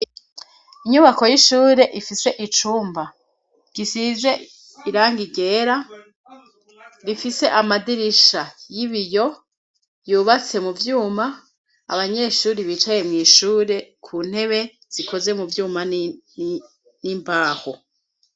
Inyubako y'ishure ifise icumba gisize irangi ryera, rifise amadirisha y'ibiyo yubatse mu vyuma, abanyeshure bicaye mw'ishure ku ntebe zikoze mu vyuma n'imbaho.